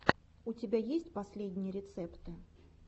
у тебя есть последние рецепты